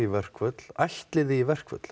verkföll ætlið þið í verkföll